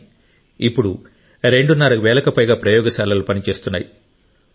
కాని ఇప్పుడు రెండున్నర వేలకు పైగా ప్రయోగశాలలు పనిచేస్తున్నాయి